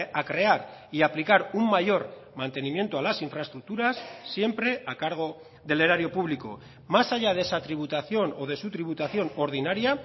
a crear y a aplicar un mayor mantenimiento a las infraestructuras siempre a cargo del erario público más allá de esa tributación o de su tributación ordinaria